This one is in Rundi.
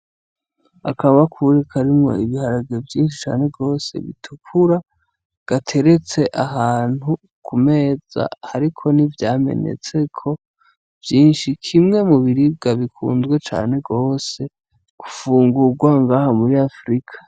Akabakure karimwo ibiharage vyinshi cane gose bitukura, gateretse ahantu ku meza, hariko nivyamenetseko vyinshi, kimwe mu biribwa bikunzwe cane gose ufungurwa ngaha muri Afurika.